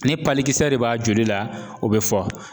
Ni de b'a joli la, o be fɔ